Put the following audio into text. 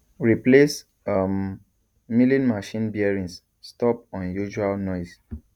replace um milling machine bearings stop unusual noise